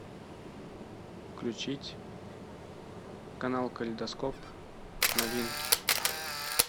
включить канал калейдоскоп новинки